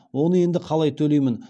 оны енді қалай төлеймін